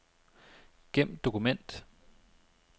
Gem dokument.